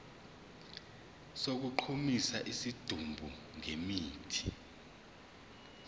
sokugqumisa isidumbu ngemithi